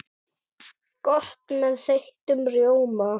Gott með þeyttum rjóma!